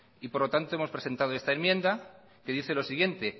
por lo tanto hemos presentado esta enmienda que dice lo siguiente